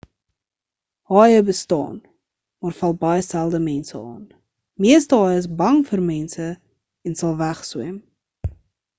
haaie bestaan maar val baie selde mense aan meeste haaie is bang vir mense en sal wegswem